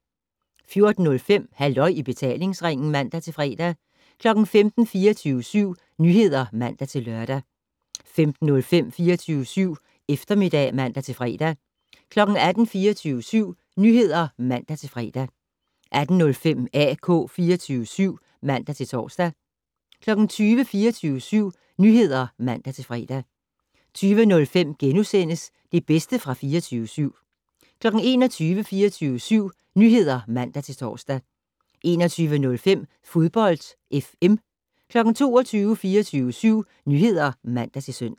14:05: Halløj i betalingsringen (man-fre) 15:00: 24syv Nyheder (man-lør) 15:05: 24syv Eftermiddag (man-fre) 18:00: 24syv Nyheder (man-fre) 18:05: AK 24syv (man-tor) 20:00: 24syv Nyheder (man-fre) 20:05: Det bedste fra 24syv * 21:00: 24syv Nyheder (man-tor) 21:05: Fodbold FM 22:00: 24syv Nyheder (man-søn)